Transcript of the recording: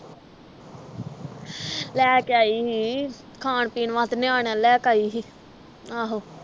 ਲੈ ਕੇ ਆਈ ਸੀ ਖਾਣ ਪੀਣ ਵਾਸਤੇ ਨਿਆਣੇ ਲਈ ਲੈ ਕੇ ਆਈ ਸੀ ਆਹੋ